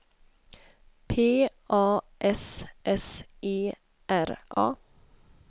P A S S E R A